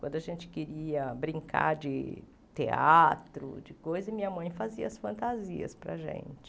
Quando a gente queria brincar de teatro, de coisa a minha mãe fazia as fantasias para a gente.